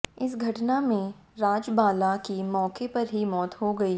इस घटना में राजबाला की मौके पर ही मौत हो गई